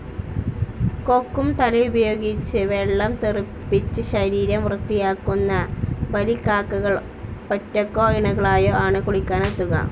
കൊക്കും തലയുമുപയോഗിച്ച് വെള്ളം തെറിപ്പിച്ച് ശരീരം വൃത്തിയാക്കുന്ന ബലിക്കാക്കകൾ ഒറ്റക്കോ ഇണകളായോ ആണ് കുളിക്കാനെത്തുക.